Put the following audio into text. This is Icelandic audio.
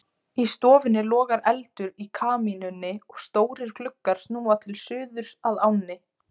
Í stofunni logar eldur í kamínunni og stórir gluggar snúa til suðurs að ánni.